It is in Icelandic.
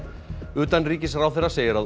utanríkisráðherra segir að